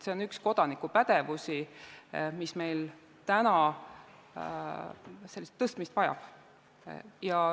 See on üks kodanikupädevusi, mis meil parandamist vajab.